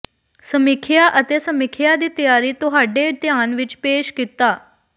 ਸਮੀਖਿਆ ਅਤੇ ਸਮੀਖਿਆ ਦੀ ਤਿਆਰੀ ਤੁਹਾਡੇ ਧਿਆਨ ਵਿਚ ਪੇਸ਼ ਕੀਤਾ